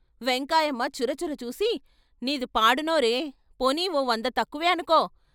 వెంకాయమ్మ చురచురచూసి "నీది పాడు నోరే పోనీ ఓ వంద తక్కువే అనుకో.